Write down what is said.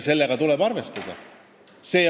Sellega tuleb arvestada.